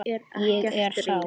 Ég er sár.